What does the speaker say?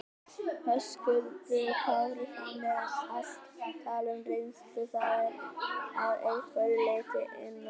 Höskuldur Kári: Þannig að allt tal um reynslu, það er að einhverju leyti innantómt?